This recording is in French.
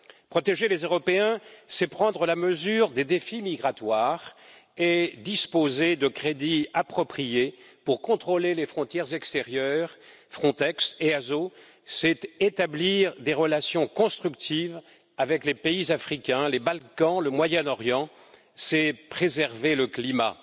Protéger les Européens, c'est prendre la mesure des défis migratoires et disposer de crédits appropriés pour contrôler les frontières extérieures Frontex et ASO c'est établir des relations constructives avec les pays africains, les Balkans, le Moyen Orient, c'est préserver le climat.